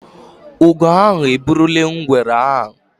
Ugo ahụ eburule ngwere ahụ